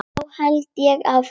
Þá held ég áfram.